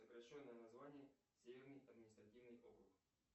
сокращенное название северный административный округ